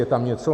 Je tam něco?